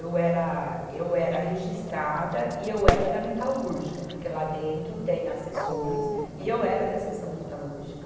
Eu era, eu era registrada e eu era da metalúrgica, porque lá dentro tem as sessões e eu era da sessão metalúrgica.